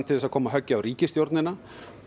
til að koma höggi á ríkisstjórnina